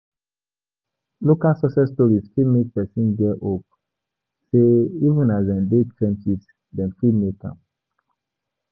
Local success stories fit make person get hope sey even as dem dey trenches dem fit make am